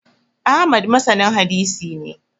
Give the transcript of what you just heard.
Ahmad masanin hadisi ne